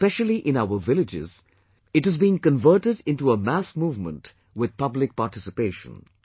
Especially in our villages, it is being converted into a mass movement with public participation